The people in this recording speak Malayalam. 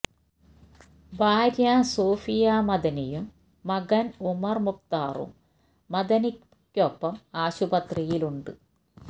ഭാര്യ സൂഫിയാ മദനിയും മകന് ഉമര് മുഖ്താറും മഅദനിയ്ക്കൊപ്പം ആശുപത്രിയില് ഉണ്ട്